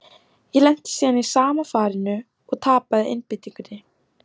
Ég lenti síðan í sama farinu, og tapaði einbeitingunni.